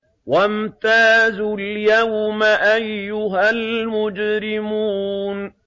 وَامْتَازُوا الْيَوْمَ أَيُّهَا الْمُجْرِمُونَ